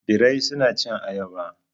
birai suna cin ayaba.